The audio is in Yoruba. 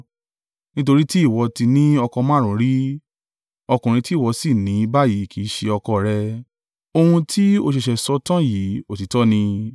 Nítorí tí ìwọ ti ní ọkọ márùn-ún rí, ọkùnrin tí ìwọ sì ní báyìí kì í ṣe ọkọ rẹ. Ohun tí ó ṣẹ̀ṣẹ̀ sọ tán yìí, òtítọ́ ni.”